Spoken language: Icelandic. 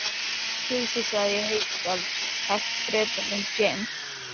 Geysissvæðið í Haukadal selt Bretanum James